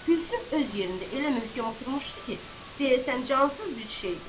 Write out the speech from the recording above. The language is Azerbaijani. Gülsüm öz yerində elə möhkəm oturmuşdu ki, deyəsən cansız bir şeydir.